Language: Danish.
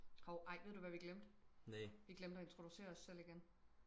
hov ej ved du hvad vi glemte vi glemte og introducere os selv igen